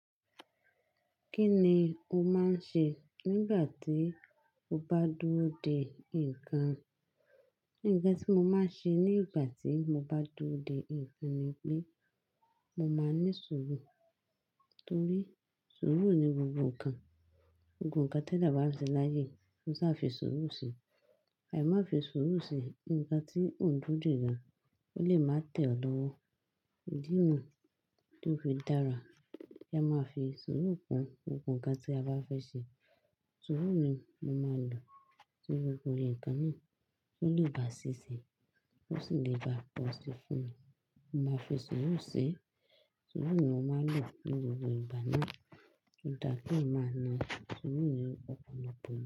Kí ni o máa ń ṣe nígbà tí o bá dúró de nǹkan? Nǹkan tí mo máa ṣe nígbà tí mo bá dúró de nǹkan ni pé mo máa ní sùúrù. Nítorí sùúrù ni gbogbo nǹkan. Gbogbo nǹkan tẹ́ẹ̀dáà ban ṣe láyé, kó ṣa fi sùúrù ṣe. Àì máa fi sùúrù ṣe nǹkan tí òun dúró de gan, ó lè má tẹ̀ ọ́ lọ́wọ́. Ìdí nu tí ó fi dára, ẹ máa fi sùúrù kun gbogbo nǹkan tí a bá fẹ́ ṣe. Sùúrù ni mo máa lò sí gbogbo nkàn náà, ó lè bà sí sinmi, ó sì lè bà pọ̀ si fún mi. Mo máa fi sùúrù ṣe, sùúrù ni mo máa lò ní gbogbo ìgbà náà. Ọ̀dà kí èèyàn máa na, sùúrù ni ó máa pọn ọ̀pọ̀